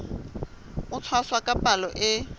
ho tshwasa ka palo e